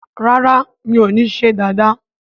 ràrá mi'o ní ṣe Dàda